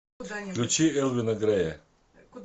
включи элвина грея